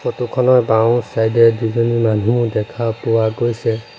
Photo খনৰ বাওঁ side এ দুজনী মানুহ দেখা পোৱা গৈছে।